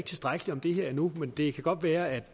tilstrækkeligt om det her endnu det kan godt være at